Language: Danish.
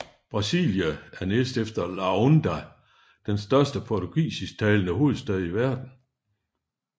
Brasília er næstefter Luanda den største portugisisktalende hovedstad i verden